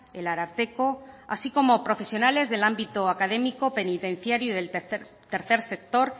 el ararteko así como profesionales del ámbito académico penitenciario y del tercer sector